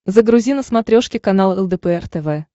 загрузи на смотрешке канал лдпр тв